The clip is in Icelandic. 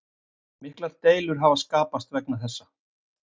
Miklar deilur hafa skapast vegna þessa